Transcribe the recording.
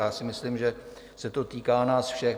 A já si myslím, že se to týká nás všech.